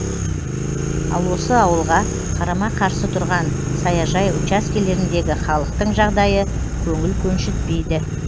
ал осы ауылға қарама қарсы тұрған саяжай учаскелеріндегі халықтың жағдайы көңіл көншітпейді